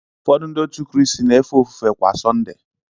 Ụfọdụ Ndị Kraịst na-efe ofufe kwa Sunday